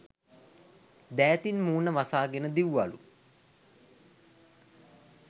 දෑතින් මූණ වසාගෙන දිව්වලු.